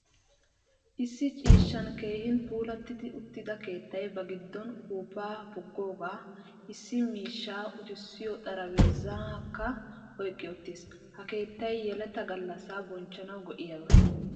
Issi ciishshan keehin puulati uttida keettay ba giddon uppuppa puggoga, issi miishsha uttisyo xaraphphezzakka oyqqi uttiis. Ha keettay yeletta gallaasa bonchchanawu go'iyaba.